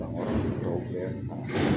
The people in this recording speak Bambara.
Danfara dɔw bɛ